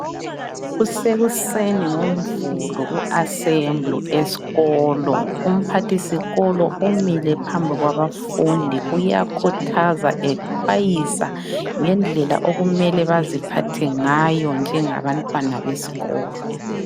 Kusekuseni ngoMvulo kuassembly esikolo. Umphathisikolo umile phambi kwabafundi, uyakhuthaza exwayisa ngendlela okumele baziphathe ngayo njengabantwana besikolo.